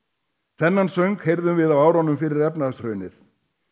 þennan söng heyrðum við á árunum fyrir efnahagshrunið